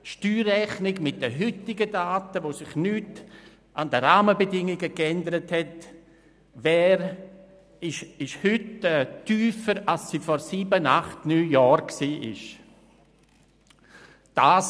Ohne an den Rahmenbedingungen etwas zu ändern, ist die Steuerrechnung mit den heutigen Daten tiefer, als dies vor sieben, acht oder neun Jahren der Fall war.